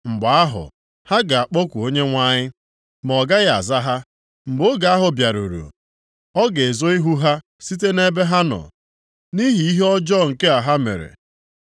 Mgbe ahụ ha ga-akpọku Onyenwe anyị, ma ọ gaghị aza ha! Mgbe oge ahụ bịaruru, ọ ga-ezo ihu ha site nʼebe ha nọ nʼihi ihe ọjọọ nke ha mere.